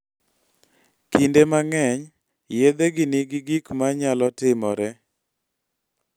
Kinde mang�eny, yedhegi nigi gik ma nyalo timore.